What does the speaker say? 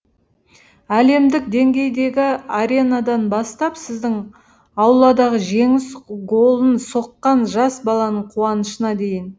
әлемдік деңгейдегі аренадан бастап сіздің ауладағы жеңіс голын соққан жас баланың қуанышына дейін